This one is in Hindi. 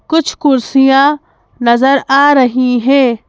कुछ कुर्सियां नजर आ रही हैं।